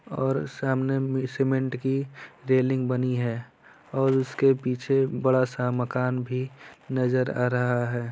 और सामने में सीमेंट की रेलिंग बनी है और उसके पीछे बड़ा सा मकान भी नजर आ रहा है।